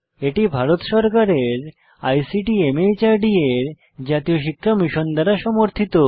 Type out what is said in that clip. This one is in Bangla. এটি ভারত সরকারের আইসিটি মাহর্দ এর জাতীয় শিক্ষা মিশন দ্বারা সমর্থিত